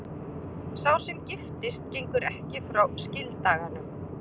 Sá sem giftist gengur ekki frá skildaganum.